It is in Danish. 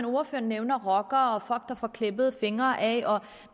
ordføreren nævner rockere og folk der får klippet fingre af